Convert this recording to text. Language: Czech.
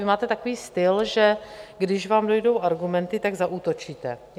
Vy máte takový styl, že když vám dojdou argumenty, tak zaútočíte.